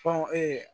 Kɔn